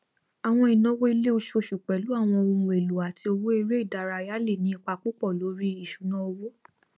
àwọn ináwó ilé oṣooṣù pẹlú àwọn ohun élò àti owó eré ìdárayá lè ní ipa púpọ lórí ìsúná owó